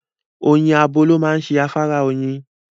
Oyin abo ló máa ń ṣe afárá oyin.